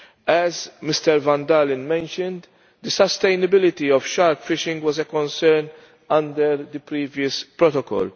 As Mr van Dalen mentioned, the sustainability of shark fishing was a concern under the previous protocol.